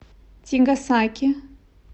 тигасаки